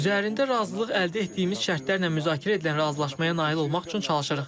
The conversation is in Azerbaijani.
Üzərində razılıq əldə etdiyimiz şərtlərlə müzakirə edilən razılaşmaya nail olmaq üçün çalışırıq.